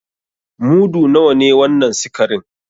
Mudu nawa ne wannan sikarin?